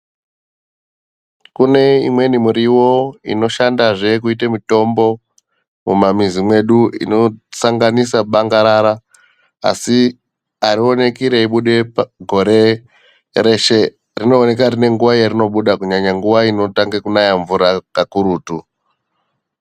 Kune imweni muriwo inoshandazve kuita mitombo mumamuzi mwedu. Inosanganisa bangarara asi arioneki reibuda gore reshe. Rinooneka riine nguwa rarinobuda kunyanya nguwa inotange kunaya mvura kakurutu.